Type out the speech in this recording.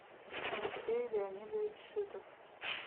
алексей леонидович шитов